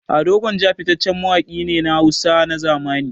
Ado Gwanja fitaccen mawaƙi ne na Hausa na zamani.